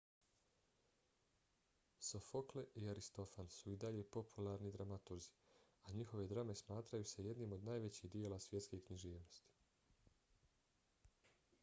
sofokle i aristofan su i dalje popularni dramaturzi a njihove drame smatraju se jednim od najvećih djela svjetske književnosti